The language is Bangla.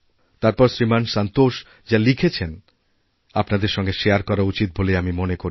তারপরশ্রীমান সন্তোষ যা লিখেছেন আপনাদের সঙ্গে শারে করা উচিত বলেই আমি মনে করি